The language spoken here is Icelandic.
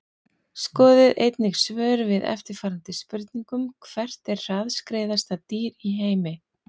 Skoðið einnig svör við eftirfarandi spurningum Hvert er hraðskreiðasta dýr í heimi?